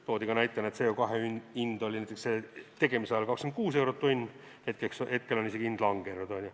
Toodi ka näitena, et CO2 hind oli selle tegemise ajal 26 eurot tonn, hetkel on hind isegi langenud.